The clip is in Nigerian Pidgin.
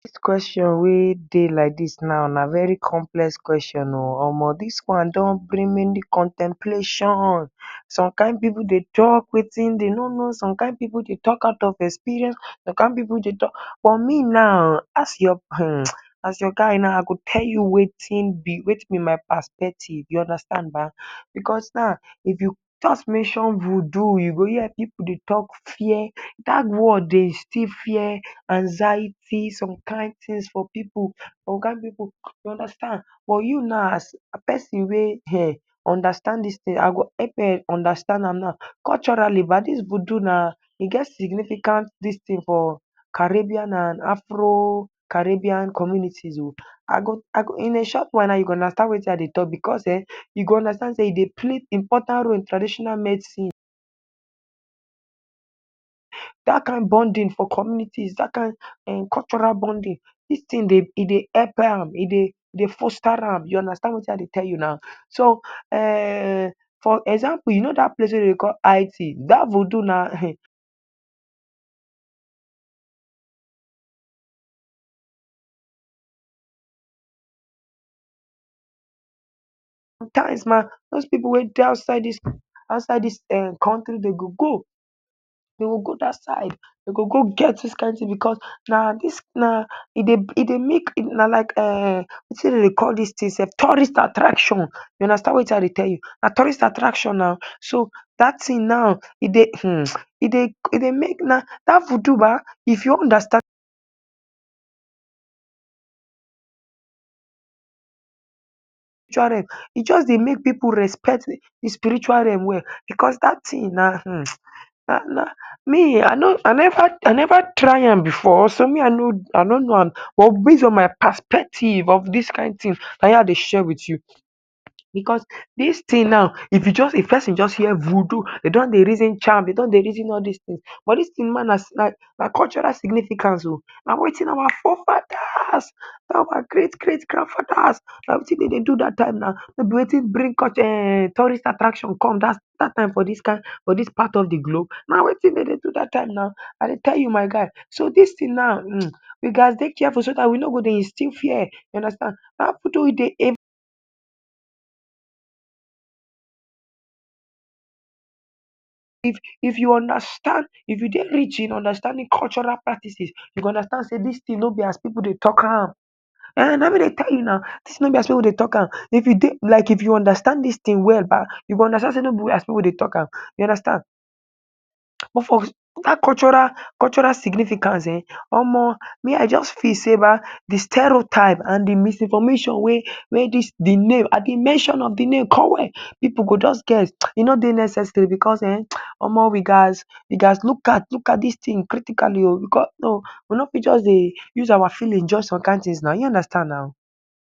Dis question wey dey like dis now na very complex question omo dis one don bring many contemplation. Some kain pipu dey talk watin dem no know, some kain pipu dey talk out of experience, some kain pipu dey talk. But me now as your um as your guy now, I go tell you watin be watin be my perspective you understand ba because now if you just mention voodoo you go hear pipu dey talk, dat word dey instill fear, anxiety, some kaintins for pipu, some kain pipu you understand but you now as pesin wey um understand dis tin, I go help um understand am. Culturally ba dis voodoo na, e get significant dis tin for Caribbean and Afro-Caribbean communities o. I go I go, in a short while now you go understand watin I dey talk because[um]yu go understand sey e dey play importand role in traditional medicine. Dat kkain bonding for communities, dat kain um cultural bonding dis tin e dey help am, e dey e dey foster am you understand watin I dey tell you now. So um for example you knoe dat place wey dem dey call id dat voodoo na dose pipu wey dey outside dis country dem go go dem go go get dis kain tin because na na dis e dey e dey make na like um watin dem dey call dis tin self, tourist attraction you understand watin I dey tell you na tourist attraction now, so dat tin now, e dey um e dey e dey make na dat voodoo ba if you wan understand spiritual realm, e just dey make pipu dey respect di spiritual realm well because dat tin na na make. Me I neva try am before but so me I no know am but based on my perspective of dis kain tin na him I dey share wit you because dis tin now if pesin just hear voodoo dey don dey reason charm dey don dey reason all dis tins but dis tin ma na cultural significance o na watin our forefadas na our great great grand fadas na watin dem dey do dat time na no be watin bring tourist attraction come dat time for dis kain for dis part of di globe. Na watin dem dey do dat time na I dey tell you my guy, so di distin noe um you gas dey dey careful so dat we no go dey instill fear you understand if you understand if you dey rich in understanding cultural practices you go understand sey dis tin no be as pipu dey talk am,[um]na me dey tell you now. Tin no be as we dey tlk am, if you dey like if you understand dis tin well you go understand sey no be wey as pipu deyt alk am. But for dat culturan significance[um]omo me I just feel sey ba di sterotype and di misinformation wey dis di name at di mention fo di name pipu go just scared e no dey necessary because ome we gas look at dis tin critically we no fit just use our feeling for some kaintins you understand now